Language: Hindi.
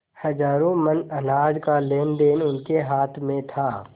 हजारों मन अनाज का लेनदेन उनके हाथ में था